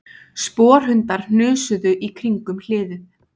Sporhundar hnusuðu í kringum hliðið